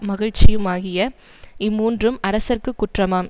மகிழ்ச்சியுமாகிய இம்மூன்றும் அரசர்க்கு குற்றமாம்